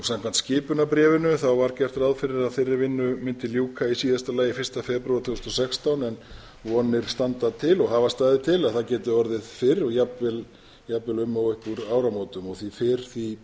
samkvæmt skipunarbréfinu var gert ráð fyrir að þeirri vinnu mundi ljúka í síðasta lagi fyrsta febrúar tvö þúsund og sextán en vonir standa til og hafa staðið til að það geti orðið fyrr og jafnvel um og upp úr áramótum og því fyrr því